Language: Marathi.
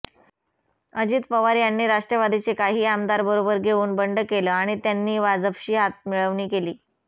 अजित पवार यांनी राष्ट्रवादीचे काही आमदार बरोबर घेऊन बंड केलं आणि त्यांनी भाजपशी हातमिळवणी केली